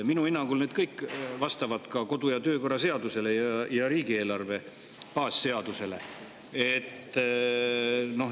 Minu hinnangul vastavad need kõik ka kodu- ja töökorra seadusele ning riigieelarve baasseadusele.